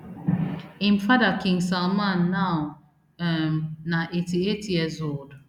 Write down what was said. im father king salman now um na eighty-eight years old